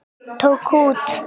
Tók út.